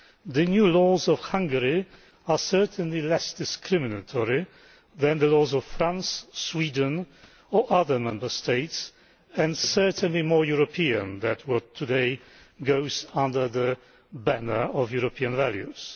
The new laws of Hungary are certainly less discriminatory than the laws of France, Sweden or other Member States and certainly more European than what today goes under the banner of European values.